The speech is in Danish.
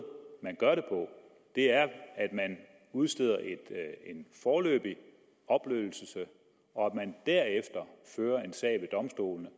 man gør det på er at man udsteder en foreløbig opløsning og at man derefter fører en sag ved domstolene